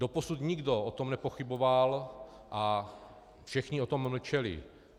Doposud nikdo o tom nepochyboval a všichni o tom mlčeli.